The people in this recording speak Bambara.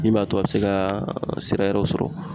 Min b'a to a be se ka sira wɛrɛw sɔrɔ.